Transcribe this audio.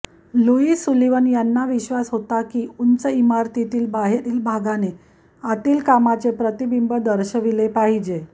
Louis Sullivan यांना विश्वास होता की उंच इमारतीतील बाहेरील भागाने आतील कामाचे प्रतिबिंब दर्शविले पाहिजे